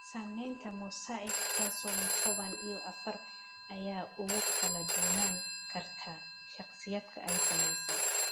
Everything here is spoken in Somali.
Saamaynta mosaic trisomy toban iyo afar aad ayay ugu kala duwanaan kartaa shakhsiyaadka ay saamaysay.